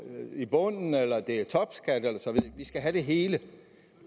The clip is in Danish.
i bunden eller det er topskat vi skal have det hele